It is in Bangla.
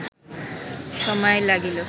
সময় লাগিল